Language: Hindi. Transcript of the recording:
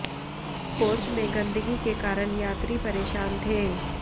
कोच में गंदगी के कारण यात्री परेशान थे